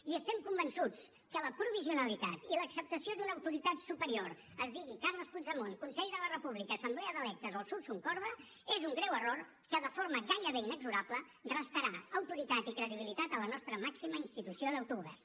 i estem convençuts que la provisionalitat i l’acceptació d’una autoritat superior es digui carles puigdemont consell de la república assemblea d’electes o el sursum corda és un greu error que de forma gairebé inexorable restarà autoritat i credibilitat a la nostra màxima institució d’autogovern